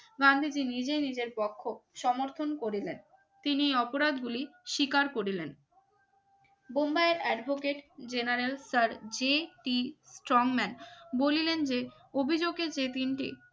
গান্ধীজি নিজে নিজের পক্ষ সমর্থন করিলেন তিনি অপরাধ গুলি স্বীকার করলেন বোম্বাইয়ের advocate general sir J T Strangman বলিলেন যে অভিযোগে যে তিনটি